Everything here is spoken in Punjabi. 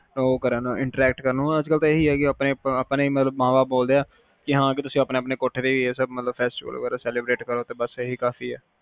ਉਹ ਕਰਨ interact ਕਰਨ ਓਹਨਾ ਨੂੰ ਤਾ ਇਹੀ ਆ ਕੇ ਆਪਣੇ ਮਾਂ ਬਾਪ ਬੋਲਦੇ ਆ ਕੇ ਹਾਂ ਤੁਸੀਂ ਆਪਣੇ ਆਪਣੇ ਕੋਠਿਆਂ ਤੇ festival ਵਗੈਰਾ celebrate ਕਰੋ ਬਸ ਇਹੀ ਕਾਫੀ ਆ